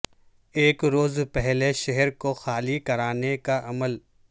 ایک روز پہلے شہر کو خالی کرانے کا عمل